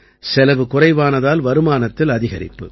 செலவு குறைவானதால் வருமானத்தில் அதிகரிப்பு